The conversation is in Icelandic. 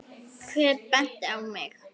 Hver benti á mig?